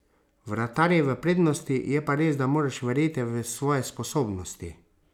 Vratar je v prednosti, je pa res, da moraš verjeti v svoje sposobnosti.